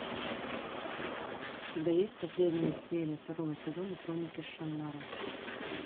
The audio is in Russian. у тебя есть последняя серия второго сезона хроники шаннары